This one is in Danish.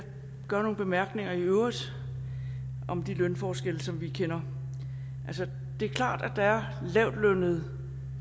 gøre nogle bemærkninger i øvrigt om de lønforskelle som vi kender altså det er klart at der er lavtlønnede